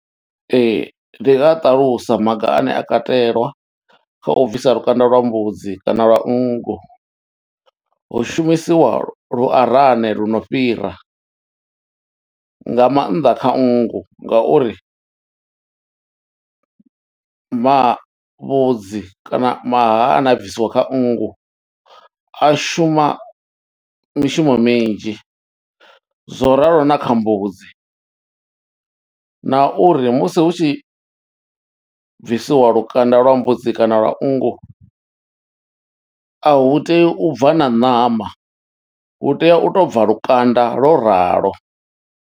Ee ndi nga ṱalusa maga ane a katelwa kha u bvisa lukanda lwa mbudzi kana lwa nngu hu shumisiwa lu arane lu no fhira nga mannḓa kha nngu ngauri mavhudzi kana maha ane a bvisiwa kha nngu a shuma mishumo minzhi zwo ralo na kha mbudzi na uri musi hu tshi bvisiwa lukanda lwa mbudzi kana lwa nngu a hu tei u bva na ṋama u tea u to bva lukanda lwo ralo.